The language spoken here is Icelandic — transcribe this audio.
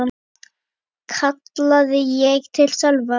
kallaði ég til Sölva.